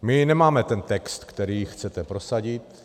My nemáme ten text, který chcete prosadit.